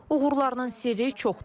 Uğurlarının sirri çoxdur.